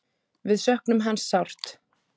Við söknum hans sárt.